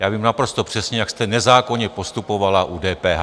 Já vím naprosto přesně, jak jste nezákonně postupovala u DPH.